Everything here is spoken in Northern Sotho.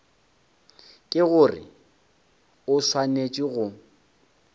ke gore o swanetše go